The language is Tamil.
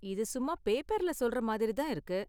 இது சும்மா பேப்பர்ல சொல்ற மாதிரி தான் இருக்கு.